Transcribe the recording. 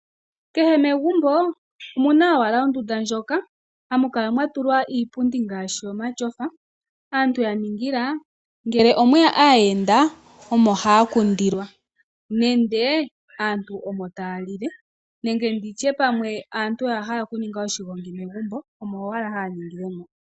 Kehe megumbo omu na owala ondunda ndjoka hamu kala mwa tulwa iipundi ngaashi omatyofa, aantu ya ningila ngele omwe ya aayenda, omo haya kundilwa, nenge aantu omo taya lile nenge ndi tye pamwe aantu oya hala okuninga oshigongi megumbo, omo owala haya ningile mo.